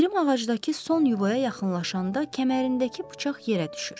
Pirim ağacdakı son yuvaya yaxınlaşanda kəmərindəki bıçaq yerə düşür.